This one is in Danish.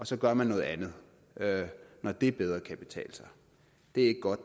så gør man noget andet når det bedre kan betale sig det er ikke godt